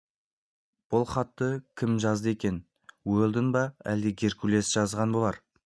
бұл хатты кім жазды екен уэлдон ба әлде геркулес жазған болар